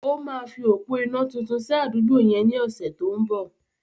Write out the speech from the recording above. Ó máa fi òpó iná tuntun sí àdúgbò yẹn ní ọ̀sẹ̀ tó ń bọ̀.